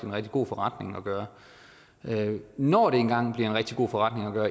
rigtig god forretning at gøre når det engang en rigtig god forretning at gøre